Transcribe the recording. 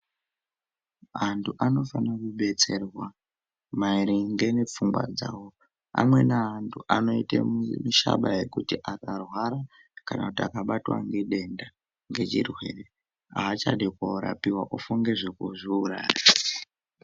Anthu anofane kudetserwa maringe ngepfungwa dzao amweni anthu anoite mishaba yekuti akarwara kana kuti akabatwa nedenda nechirwere aachadi koorapiwa kufunga zvekuzviuraya.